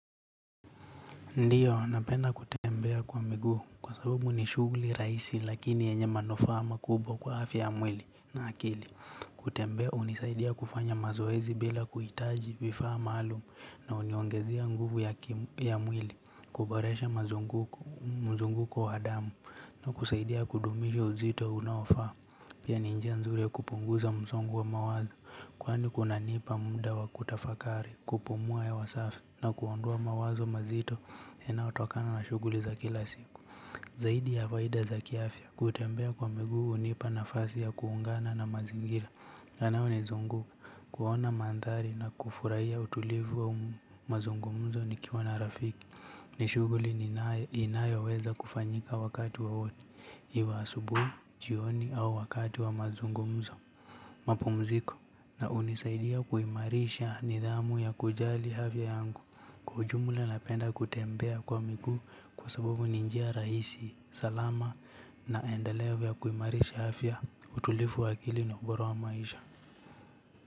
Ndiyo, napenda kutembea kwa miguu, kwa sababu ni shughuli rahisi lakini yenye manufaa makubwa kwa afya ya mwili na akili. Kutembea hunisaidia kufanya mazoezi bila kuhitaji vifaa maalumu na huniongezea nguvu ya mwili, kuboresha mazunguko wa adamu na kusaidia kudumisha uzito unaofaa. Pia ni njie nzuri ya kupunguza mzongo wa mawazo, kwani kunanipa muda wa kutafakari, kupumua hewa safi, na kuondoa mawazo mazito inayotokana na shughuli za kila siku. Zaidi ya faida za kiafya, kutembea kwa miguu hunipa nafasi ya kuungana na mazingira, yanayo nizunguka, kuona mandhari na kufurahia utulivu wa mazungumzo nikiwa na rafiki, ni shughuli ni inayoweza kufanyika wakati wowote. Iwe asubuhi, jioni au wakati wa mazungumzo mapumziko na hunisaidia kuimarisha nidhamu ya kujali afya yangu. Kwa ujumla napenda kutembea kwa miguu kwa sababu ni njia rahisi, salama na endelevu ya kuimarisha afya utulifu wa kili na ubora wa maisha.